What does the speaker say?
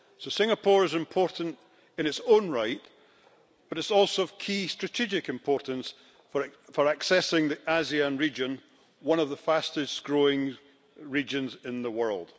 Singapore is important in its own right, but it's also of key strategic importance for accessing the ASEAN region, one of the fastest growing regions in the world.